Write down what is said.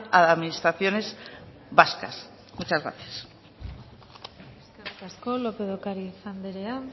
a las administraciones vascas muchas gracias eskerrik asko lópez de ocariz anderea